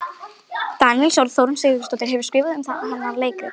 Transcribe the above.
Daníelssonar, og Þórunn Sigurðardóttir hefur skrifað um hana leikrit.